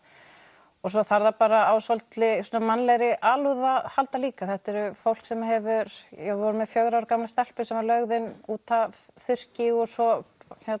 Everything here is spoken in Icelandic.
og svo þarf það bara á svolítilli mannlegri alúð að halda líka því þetta er fólk sem hefur við vorum með fjögurra ára gamla stelpu sem var lögð inn út af þurrki og svo